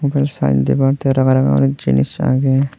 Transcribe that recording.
upel sign dibar tey ranga ranga guri jinis agey.